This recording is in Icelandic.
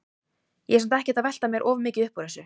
Ég er samt ekkert að velta mér of mikið upp úr þessu.